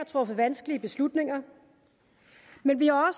truffet vanskelige beslutninger men vi har